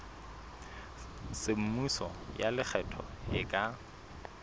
semmuso ya lekgetho e ka